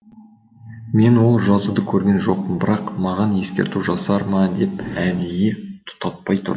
мен ол жазуды көрген жоқпын бірақ маған ескерту жасар ма деп әдейі тұтатпай тұрдым